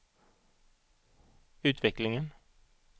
utvecklingen